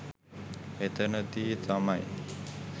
එතනදී තමයි